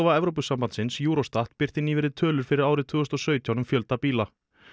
Evrópusambandsins Eurostat birti nýverið tölur fyrir árið tvö þúsund og sautján um fjölda bíla